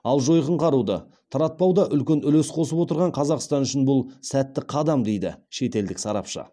ал жойқын қаруды таратпауда үлкен үлес қосып отырған қазақстан үшін бұл сәтті қадам дейді шетелдік сарапшы